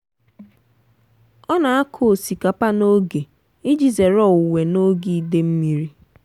ọ na-akụ osikapa n'oge iji zere owuwe n'oge ide mmiri.